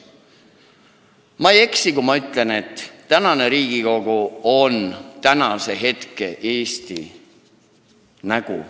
Ma ei eksi, kui ma ütlen, et tänane Riigikogu on tänase Eesti nägu.